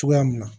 Cogoya min na